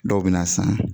Dɔw bɛ na san